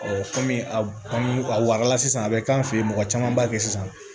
kɔmi a kɔni a wagala sisan a bɛ k'an fɛ yen mɔgɔ caman b'a kɛ sisan